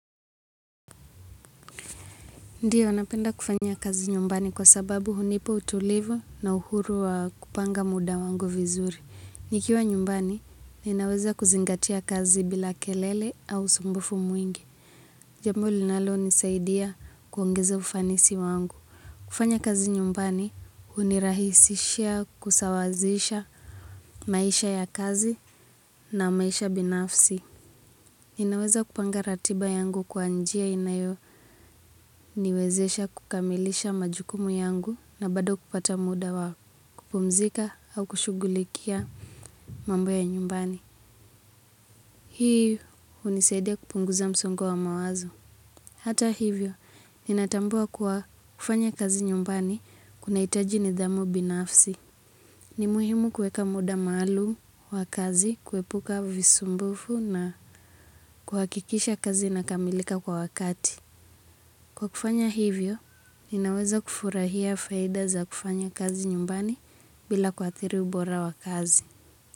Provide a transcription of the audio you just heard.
Ndio napenda kufanya kazi nyumbani kwa sababu hunipa utulivu na uhuru wa kupanga muda wangu vizuri. Nikiwa nyumbani, ninaweza kuzingatia kazi bila kelele au usumbufu mwingi. Jambo linalonisaidia kuongeza ufanisi wangu. Kufanya kazi nyumbani, hunirahisishia kusawazisha maisha ya kazi na maisha binafsi. Ninaweza kupanga ratiba yangu kwa njia inayoniwezesha kukamilisha majukumu yangu na bado kupata muda wa kupumzika au kushughulikia mambo ya nyumbani. Hii hunisaidia kupunguza msongo wa mawazo. Hata hivyo, ninatambua kuwa kufanya kazi nyumbani kunahitaji nidhamu binafsi. Ni muhimu kuweka muda maalum wa kazi, kuepuka visumbufu na kuhakikisha kazi inakamilika kwa wakati. Kwa kufanya hivyo, ninaweza kufurahia faida za kufanya kazi nyumbani bila kuathiri ubora wa kazi.